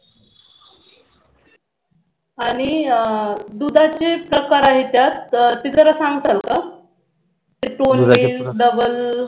आणि दुधाचे प्रकार आहेत त्यात ते जरा सांगताल का double